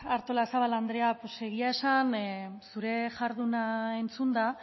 artolazabal andrea egia esan zure jarduna entzunda